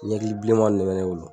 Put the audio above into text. Ɲɛkili bilenmanw de bɛ ne bolo.